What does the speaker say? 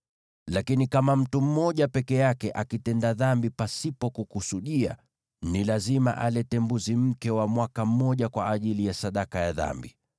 “ ‘Lakini kama mtu mmoja peke yake akitenda dhambi pasipo kukusudia, ni lazima alete mbuzi mke wa mwaka mmoja kwa ajili ya sadaka ya dhambi.